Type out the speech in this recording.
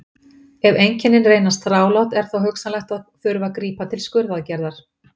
Ef einkennin reynast þrálát er þó hugsanlegt að þurfi að grípa til skurðaðgerðar.